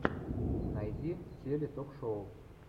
найди теле ток шоу